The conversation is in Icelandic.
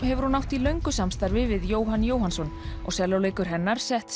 hefur hún átt í löngu samstarfi við Jóhann Jóhannsson og sellóleikur hennar sett